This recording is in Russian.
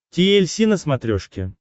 ти эль си на смотрешке